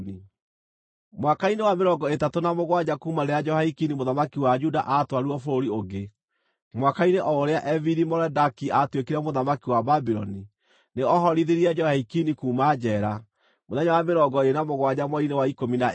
Mwaka-inĩ wa mĩrongo ĩtatũ na mũgwanja kuuma rĩrĩa Jehoiakini mũthamaki wa Juda aatwarirwo bũrũri ũngĩ, mwaka-inĩ o ũrĩa Evili-Merodaki aatuĩkire mũthamaki wa Babuloni, nĩ ohorithirie Jehoiakini kuuma njeera, mũthenya wa mĩrongo ĩĩrĩ na mũgwanja mweri-inĩ wa ikũmi na ĩĩrĩ.